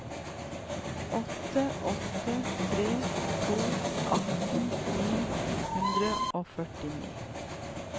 åtte åtte tre to atten ni hundre og førtini